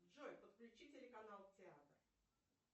джой подключи телеканал театр